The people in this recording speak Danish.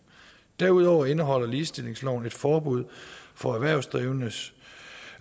derudover indeholder ligestillingsloven et forbud for erhvervsdrivende